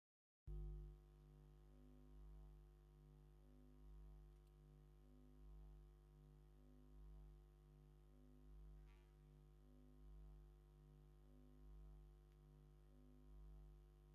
ነዊሕ ዝሽምጣ ፃዕዳ ናይ መርዑት መኪና ትርአ ኣላ፡፡ እዛ ብዕምበባ ዝወቀበት መኪና ናብ ዓይኒ ዝኣቱ ፍሉይ ፅባቐን ግርማን ዘለዋ እያ፡፡